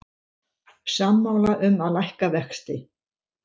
Sammála um að lækka vexti